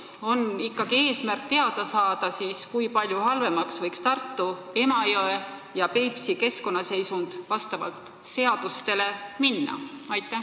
Kas on ikkagi eesmärk teada saada, kui palju halvemaks võiks Tartu, Emajõe ja Peipsi keskkonnaseisund minna, nii et seadust ei rikutaks?